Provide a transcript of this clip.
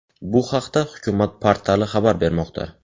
Bu haqda Hukumat portali xabar bermoqda .